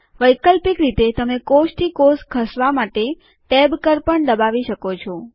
વૈકલ્પિક રીતે તમે કોષ થી કોષ ખસવા માટે ટેબ કળ પણ દબાવી શકો છો